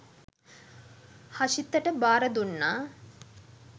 හෂිතට භාර දුන්නා.